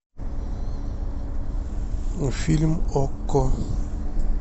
фильм окко